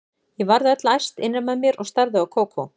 Ég varð öll æst innra með mér og starði á Kókó.